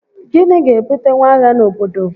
Gịnị ga-ebutenwu agha n'obodo?